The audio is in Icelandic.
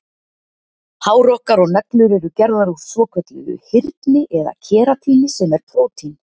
Hár okkar og neglur eru gerðar úr svokölluðu hyrni eða keratíni sem er prótín.